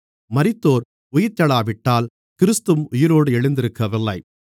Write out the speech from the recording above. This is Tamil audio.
மரித்தோர் உயிர்த்தெழாவிட்டால் கிறிஸ்துவும் உயிரோடு எழுந்திருக்கவில்லை